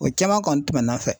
O caman kɔni tɛmɛna n fɛ